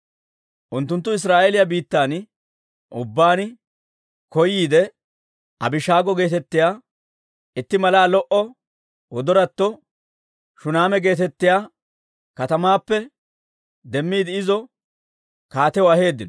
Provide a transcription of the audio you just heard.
Unttunttu Israa'eeliyaa biittan ubbaan koyiide Abishaago geetettiyaa itti malaa lo"o wodoratto Shuneema geetettiyaa katamaappe demmiidde izo kaatiyaw aheeddino.